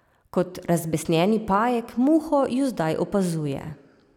Kot razbesnjeni pajek muho ju zdaj opazuje.